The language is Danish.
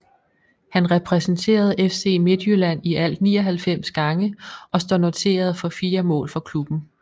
Han repræsenterede FC Midtjylland i alt 99 gange og står noteret for 4 mål for klubben